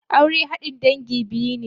Aure haɗin dangi biyu ne.